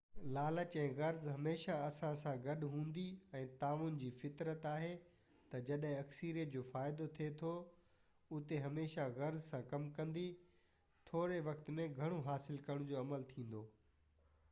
لالچ ۽ غرض هميشه اسان سان گڏ هوندي ۽ تعاون جي فطرت آهي ته جڏهن اڪثريت جو فائدو ٿئي ٿو اتي هميشه غرض سان ڪم ڪندي ٿوري وقت ۾ گهڻو حاصل ڪرڻ جو عمل ٿيندو